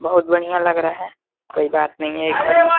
बहुत बढ़िया लग रहा है। कोई बात नही है। --